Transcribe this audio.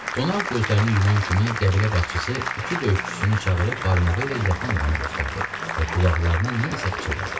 Qonaq gözlərini yuman kimi qəbilə başçısı iki döyüşçüsünü çağırıb barmağı ilə yatan adamı göstərdi və qulaqlarına nə isə pıçıldadı.